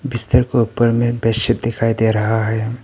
बिस्तर के ऊपर में बेडशीट दिखाई दे रहा है।